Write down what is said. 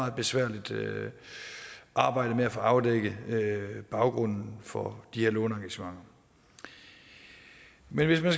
et besværligt arbejde at få afdækket baggrunden for de her låneengagementer men hvis man